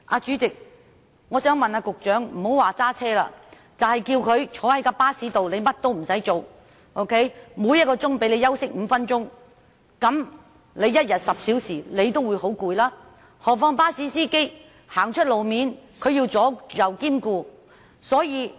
主席，我想問局長，不要說駕駛，即使只是叫他坐在巴士內，甚麼也不做，每小時讓他休息5分鐘，每天10小時坐在巴士內，他也會感到很疲累，何況巴士司機在路面駕駛時更要兼顧周遭的情況。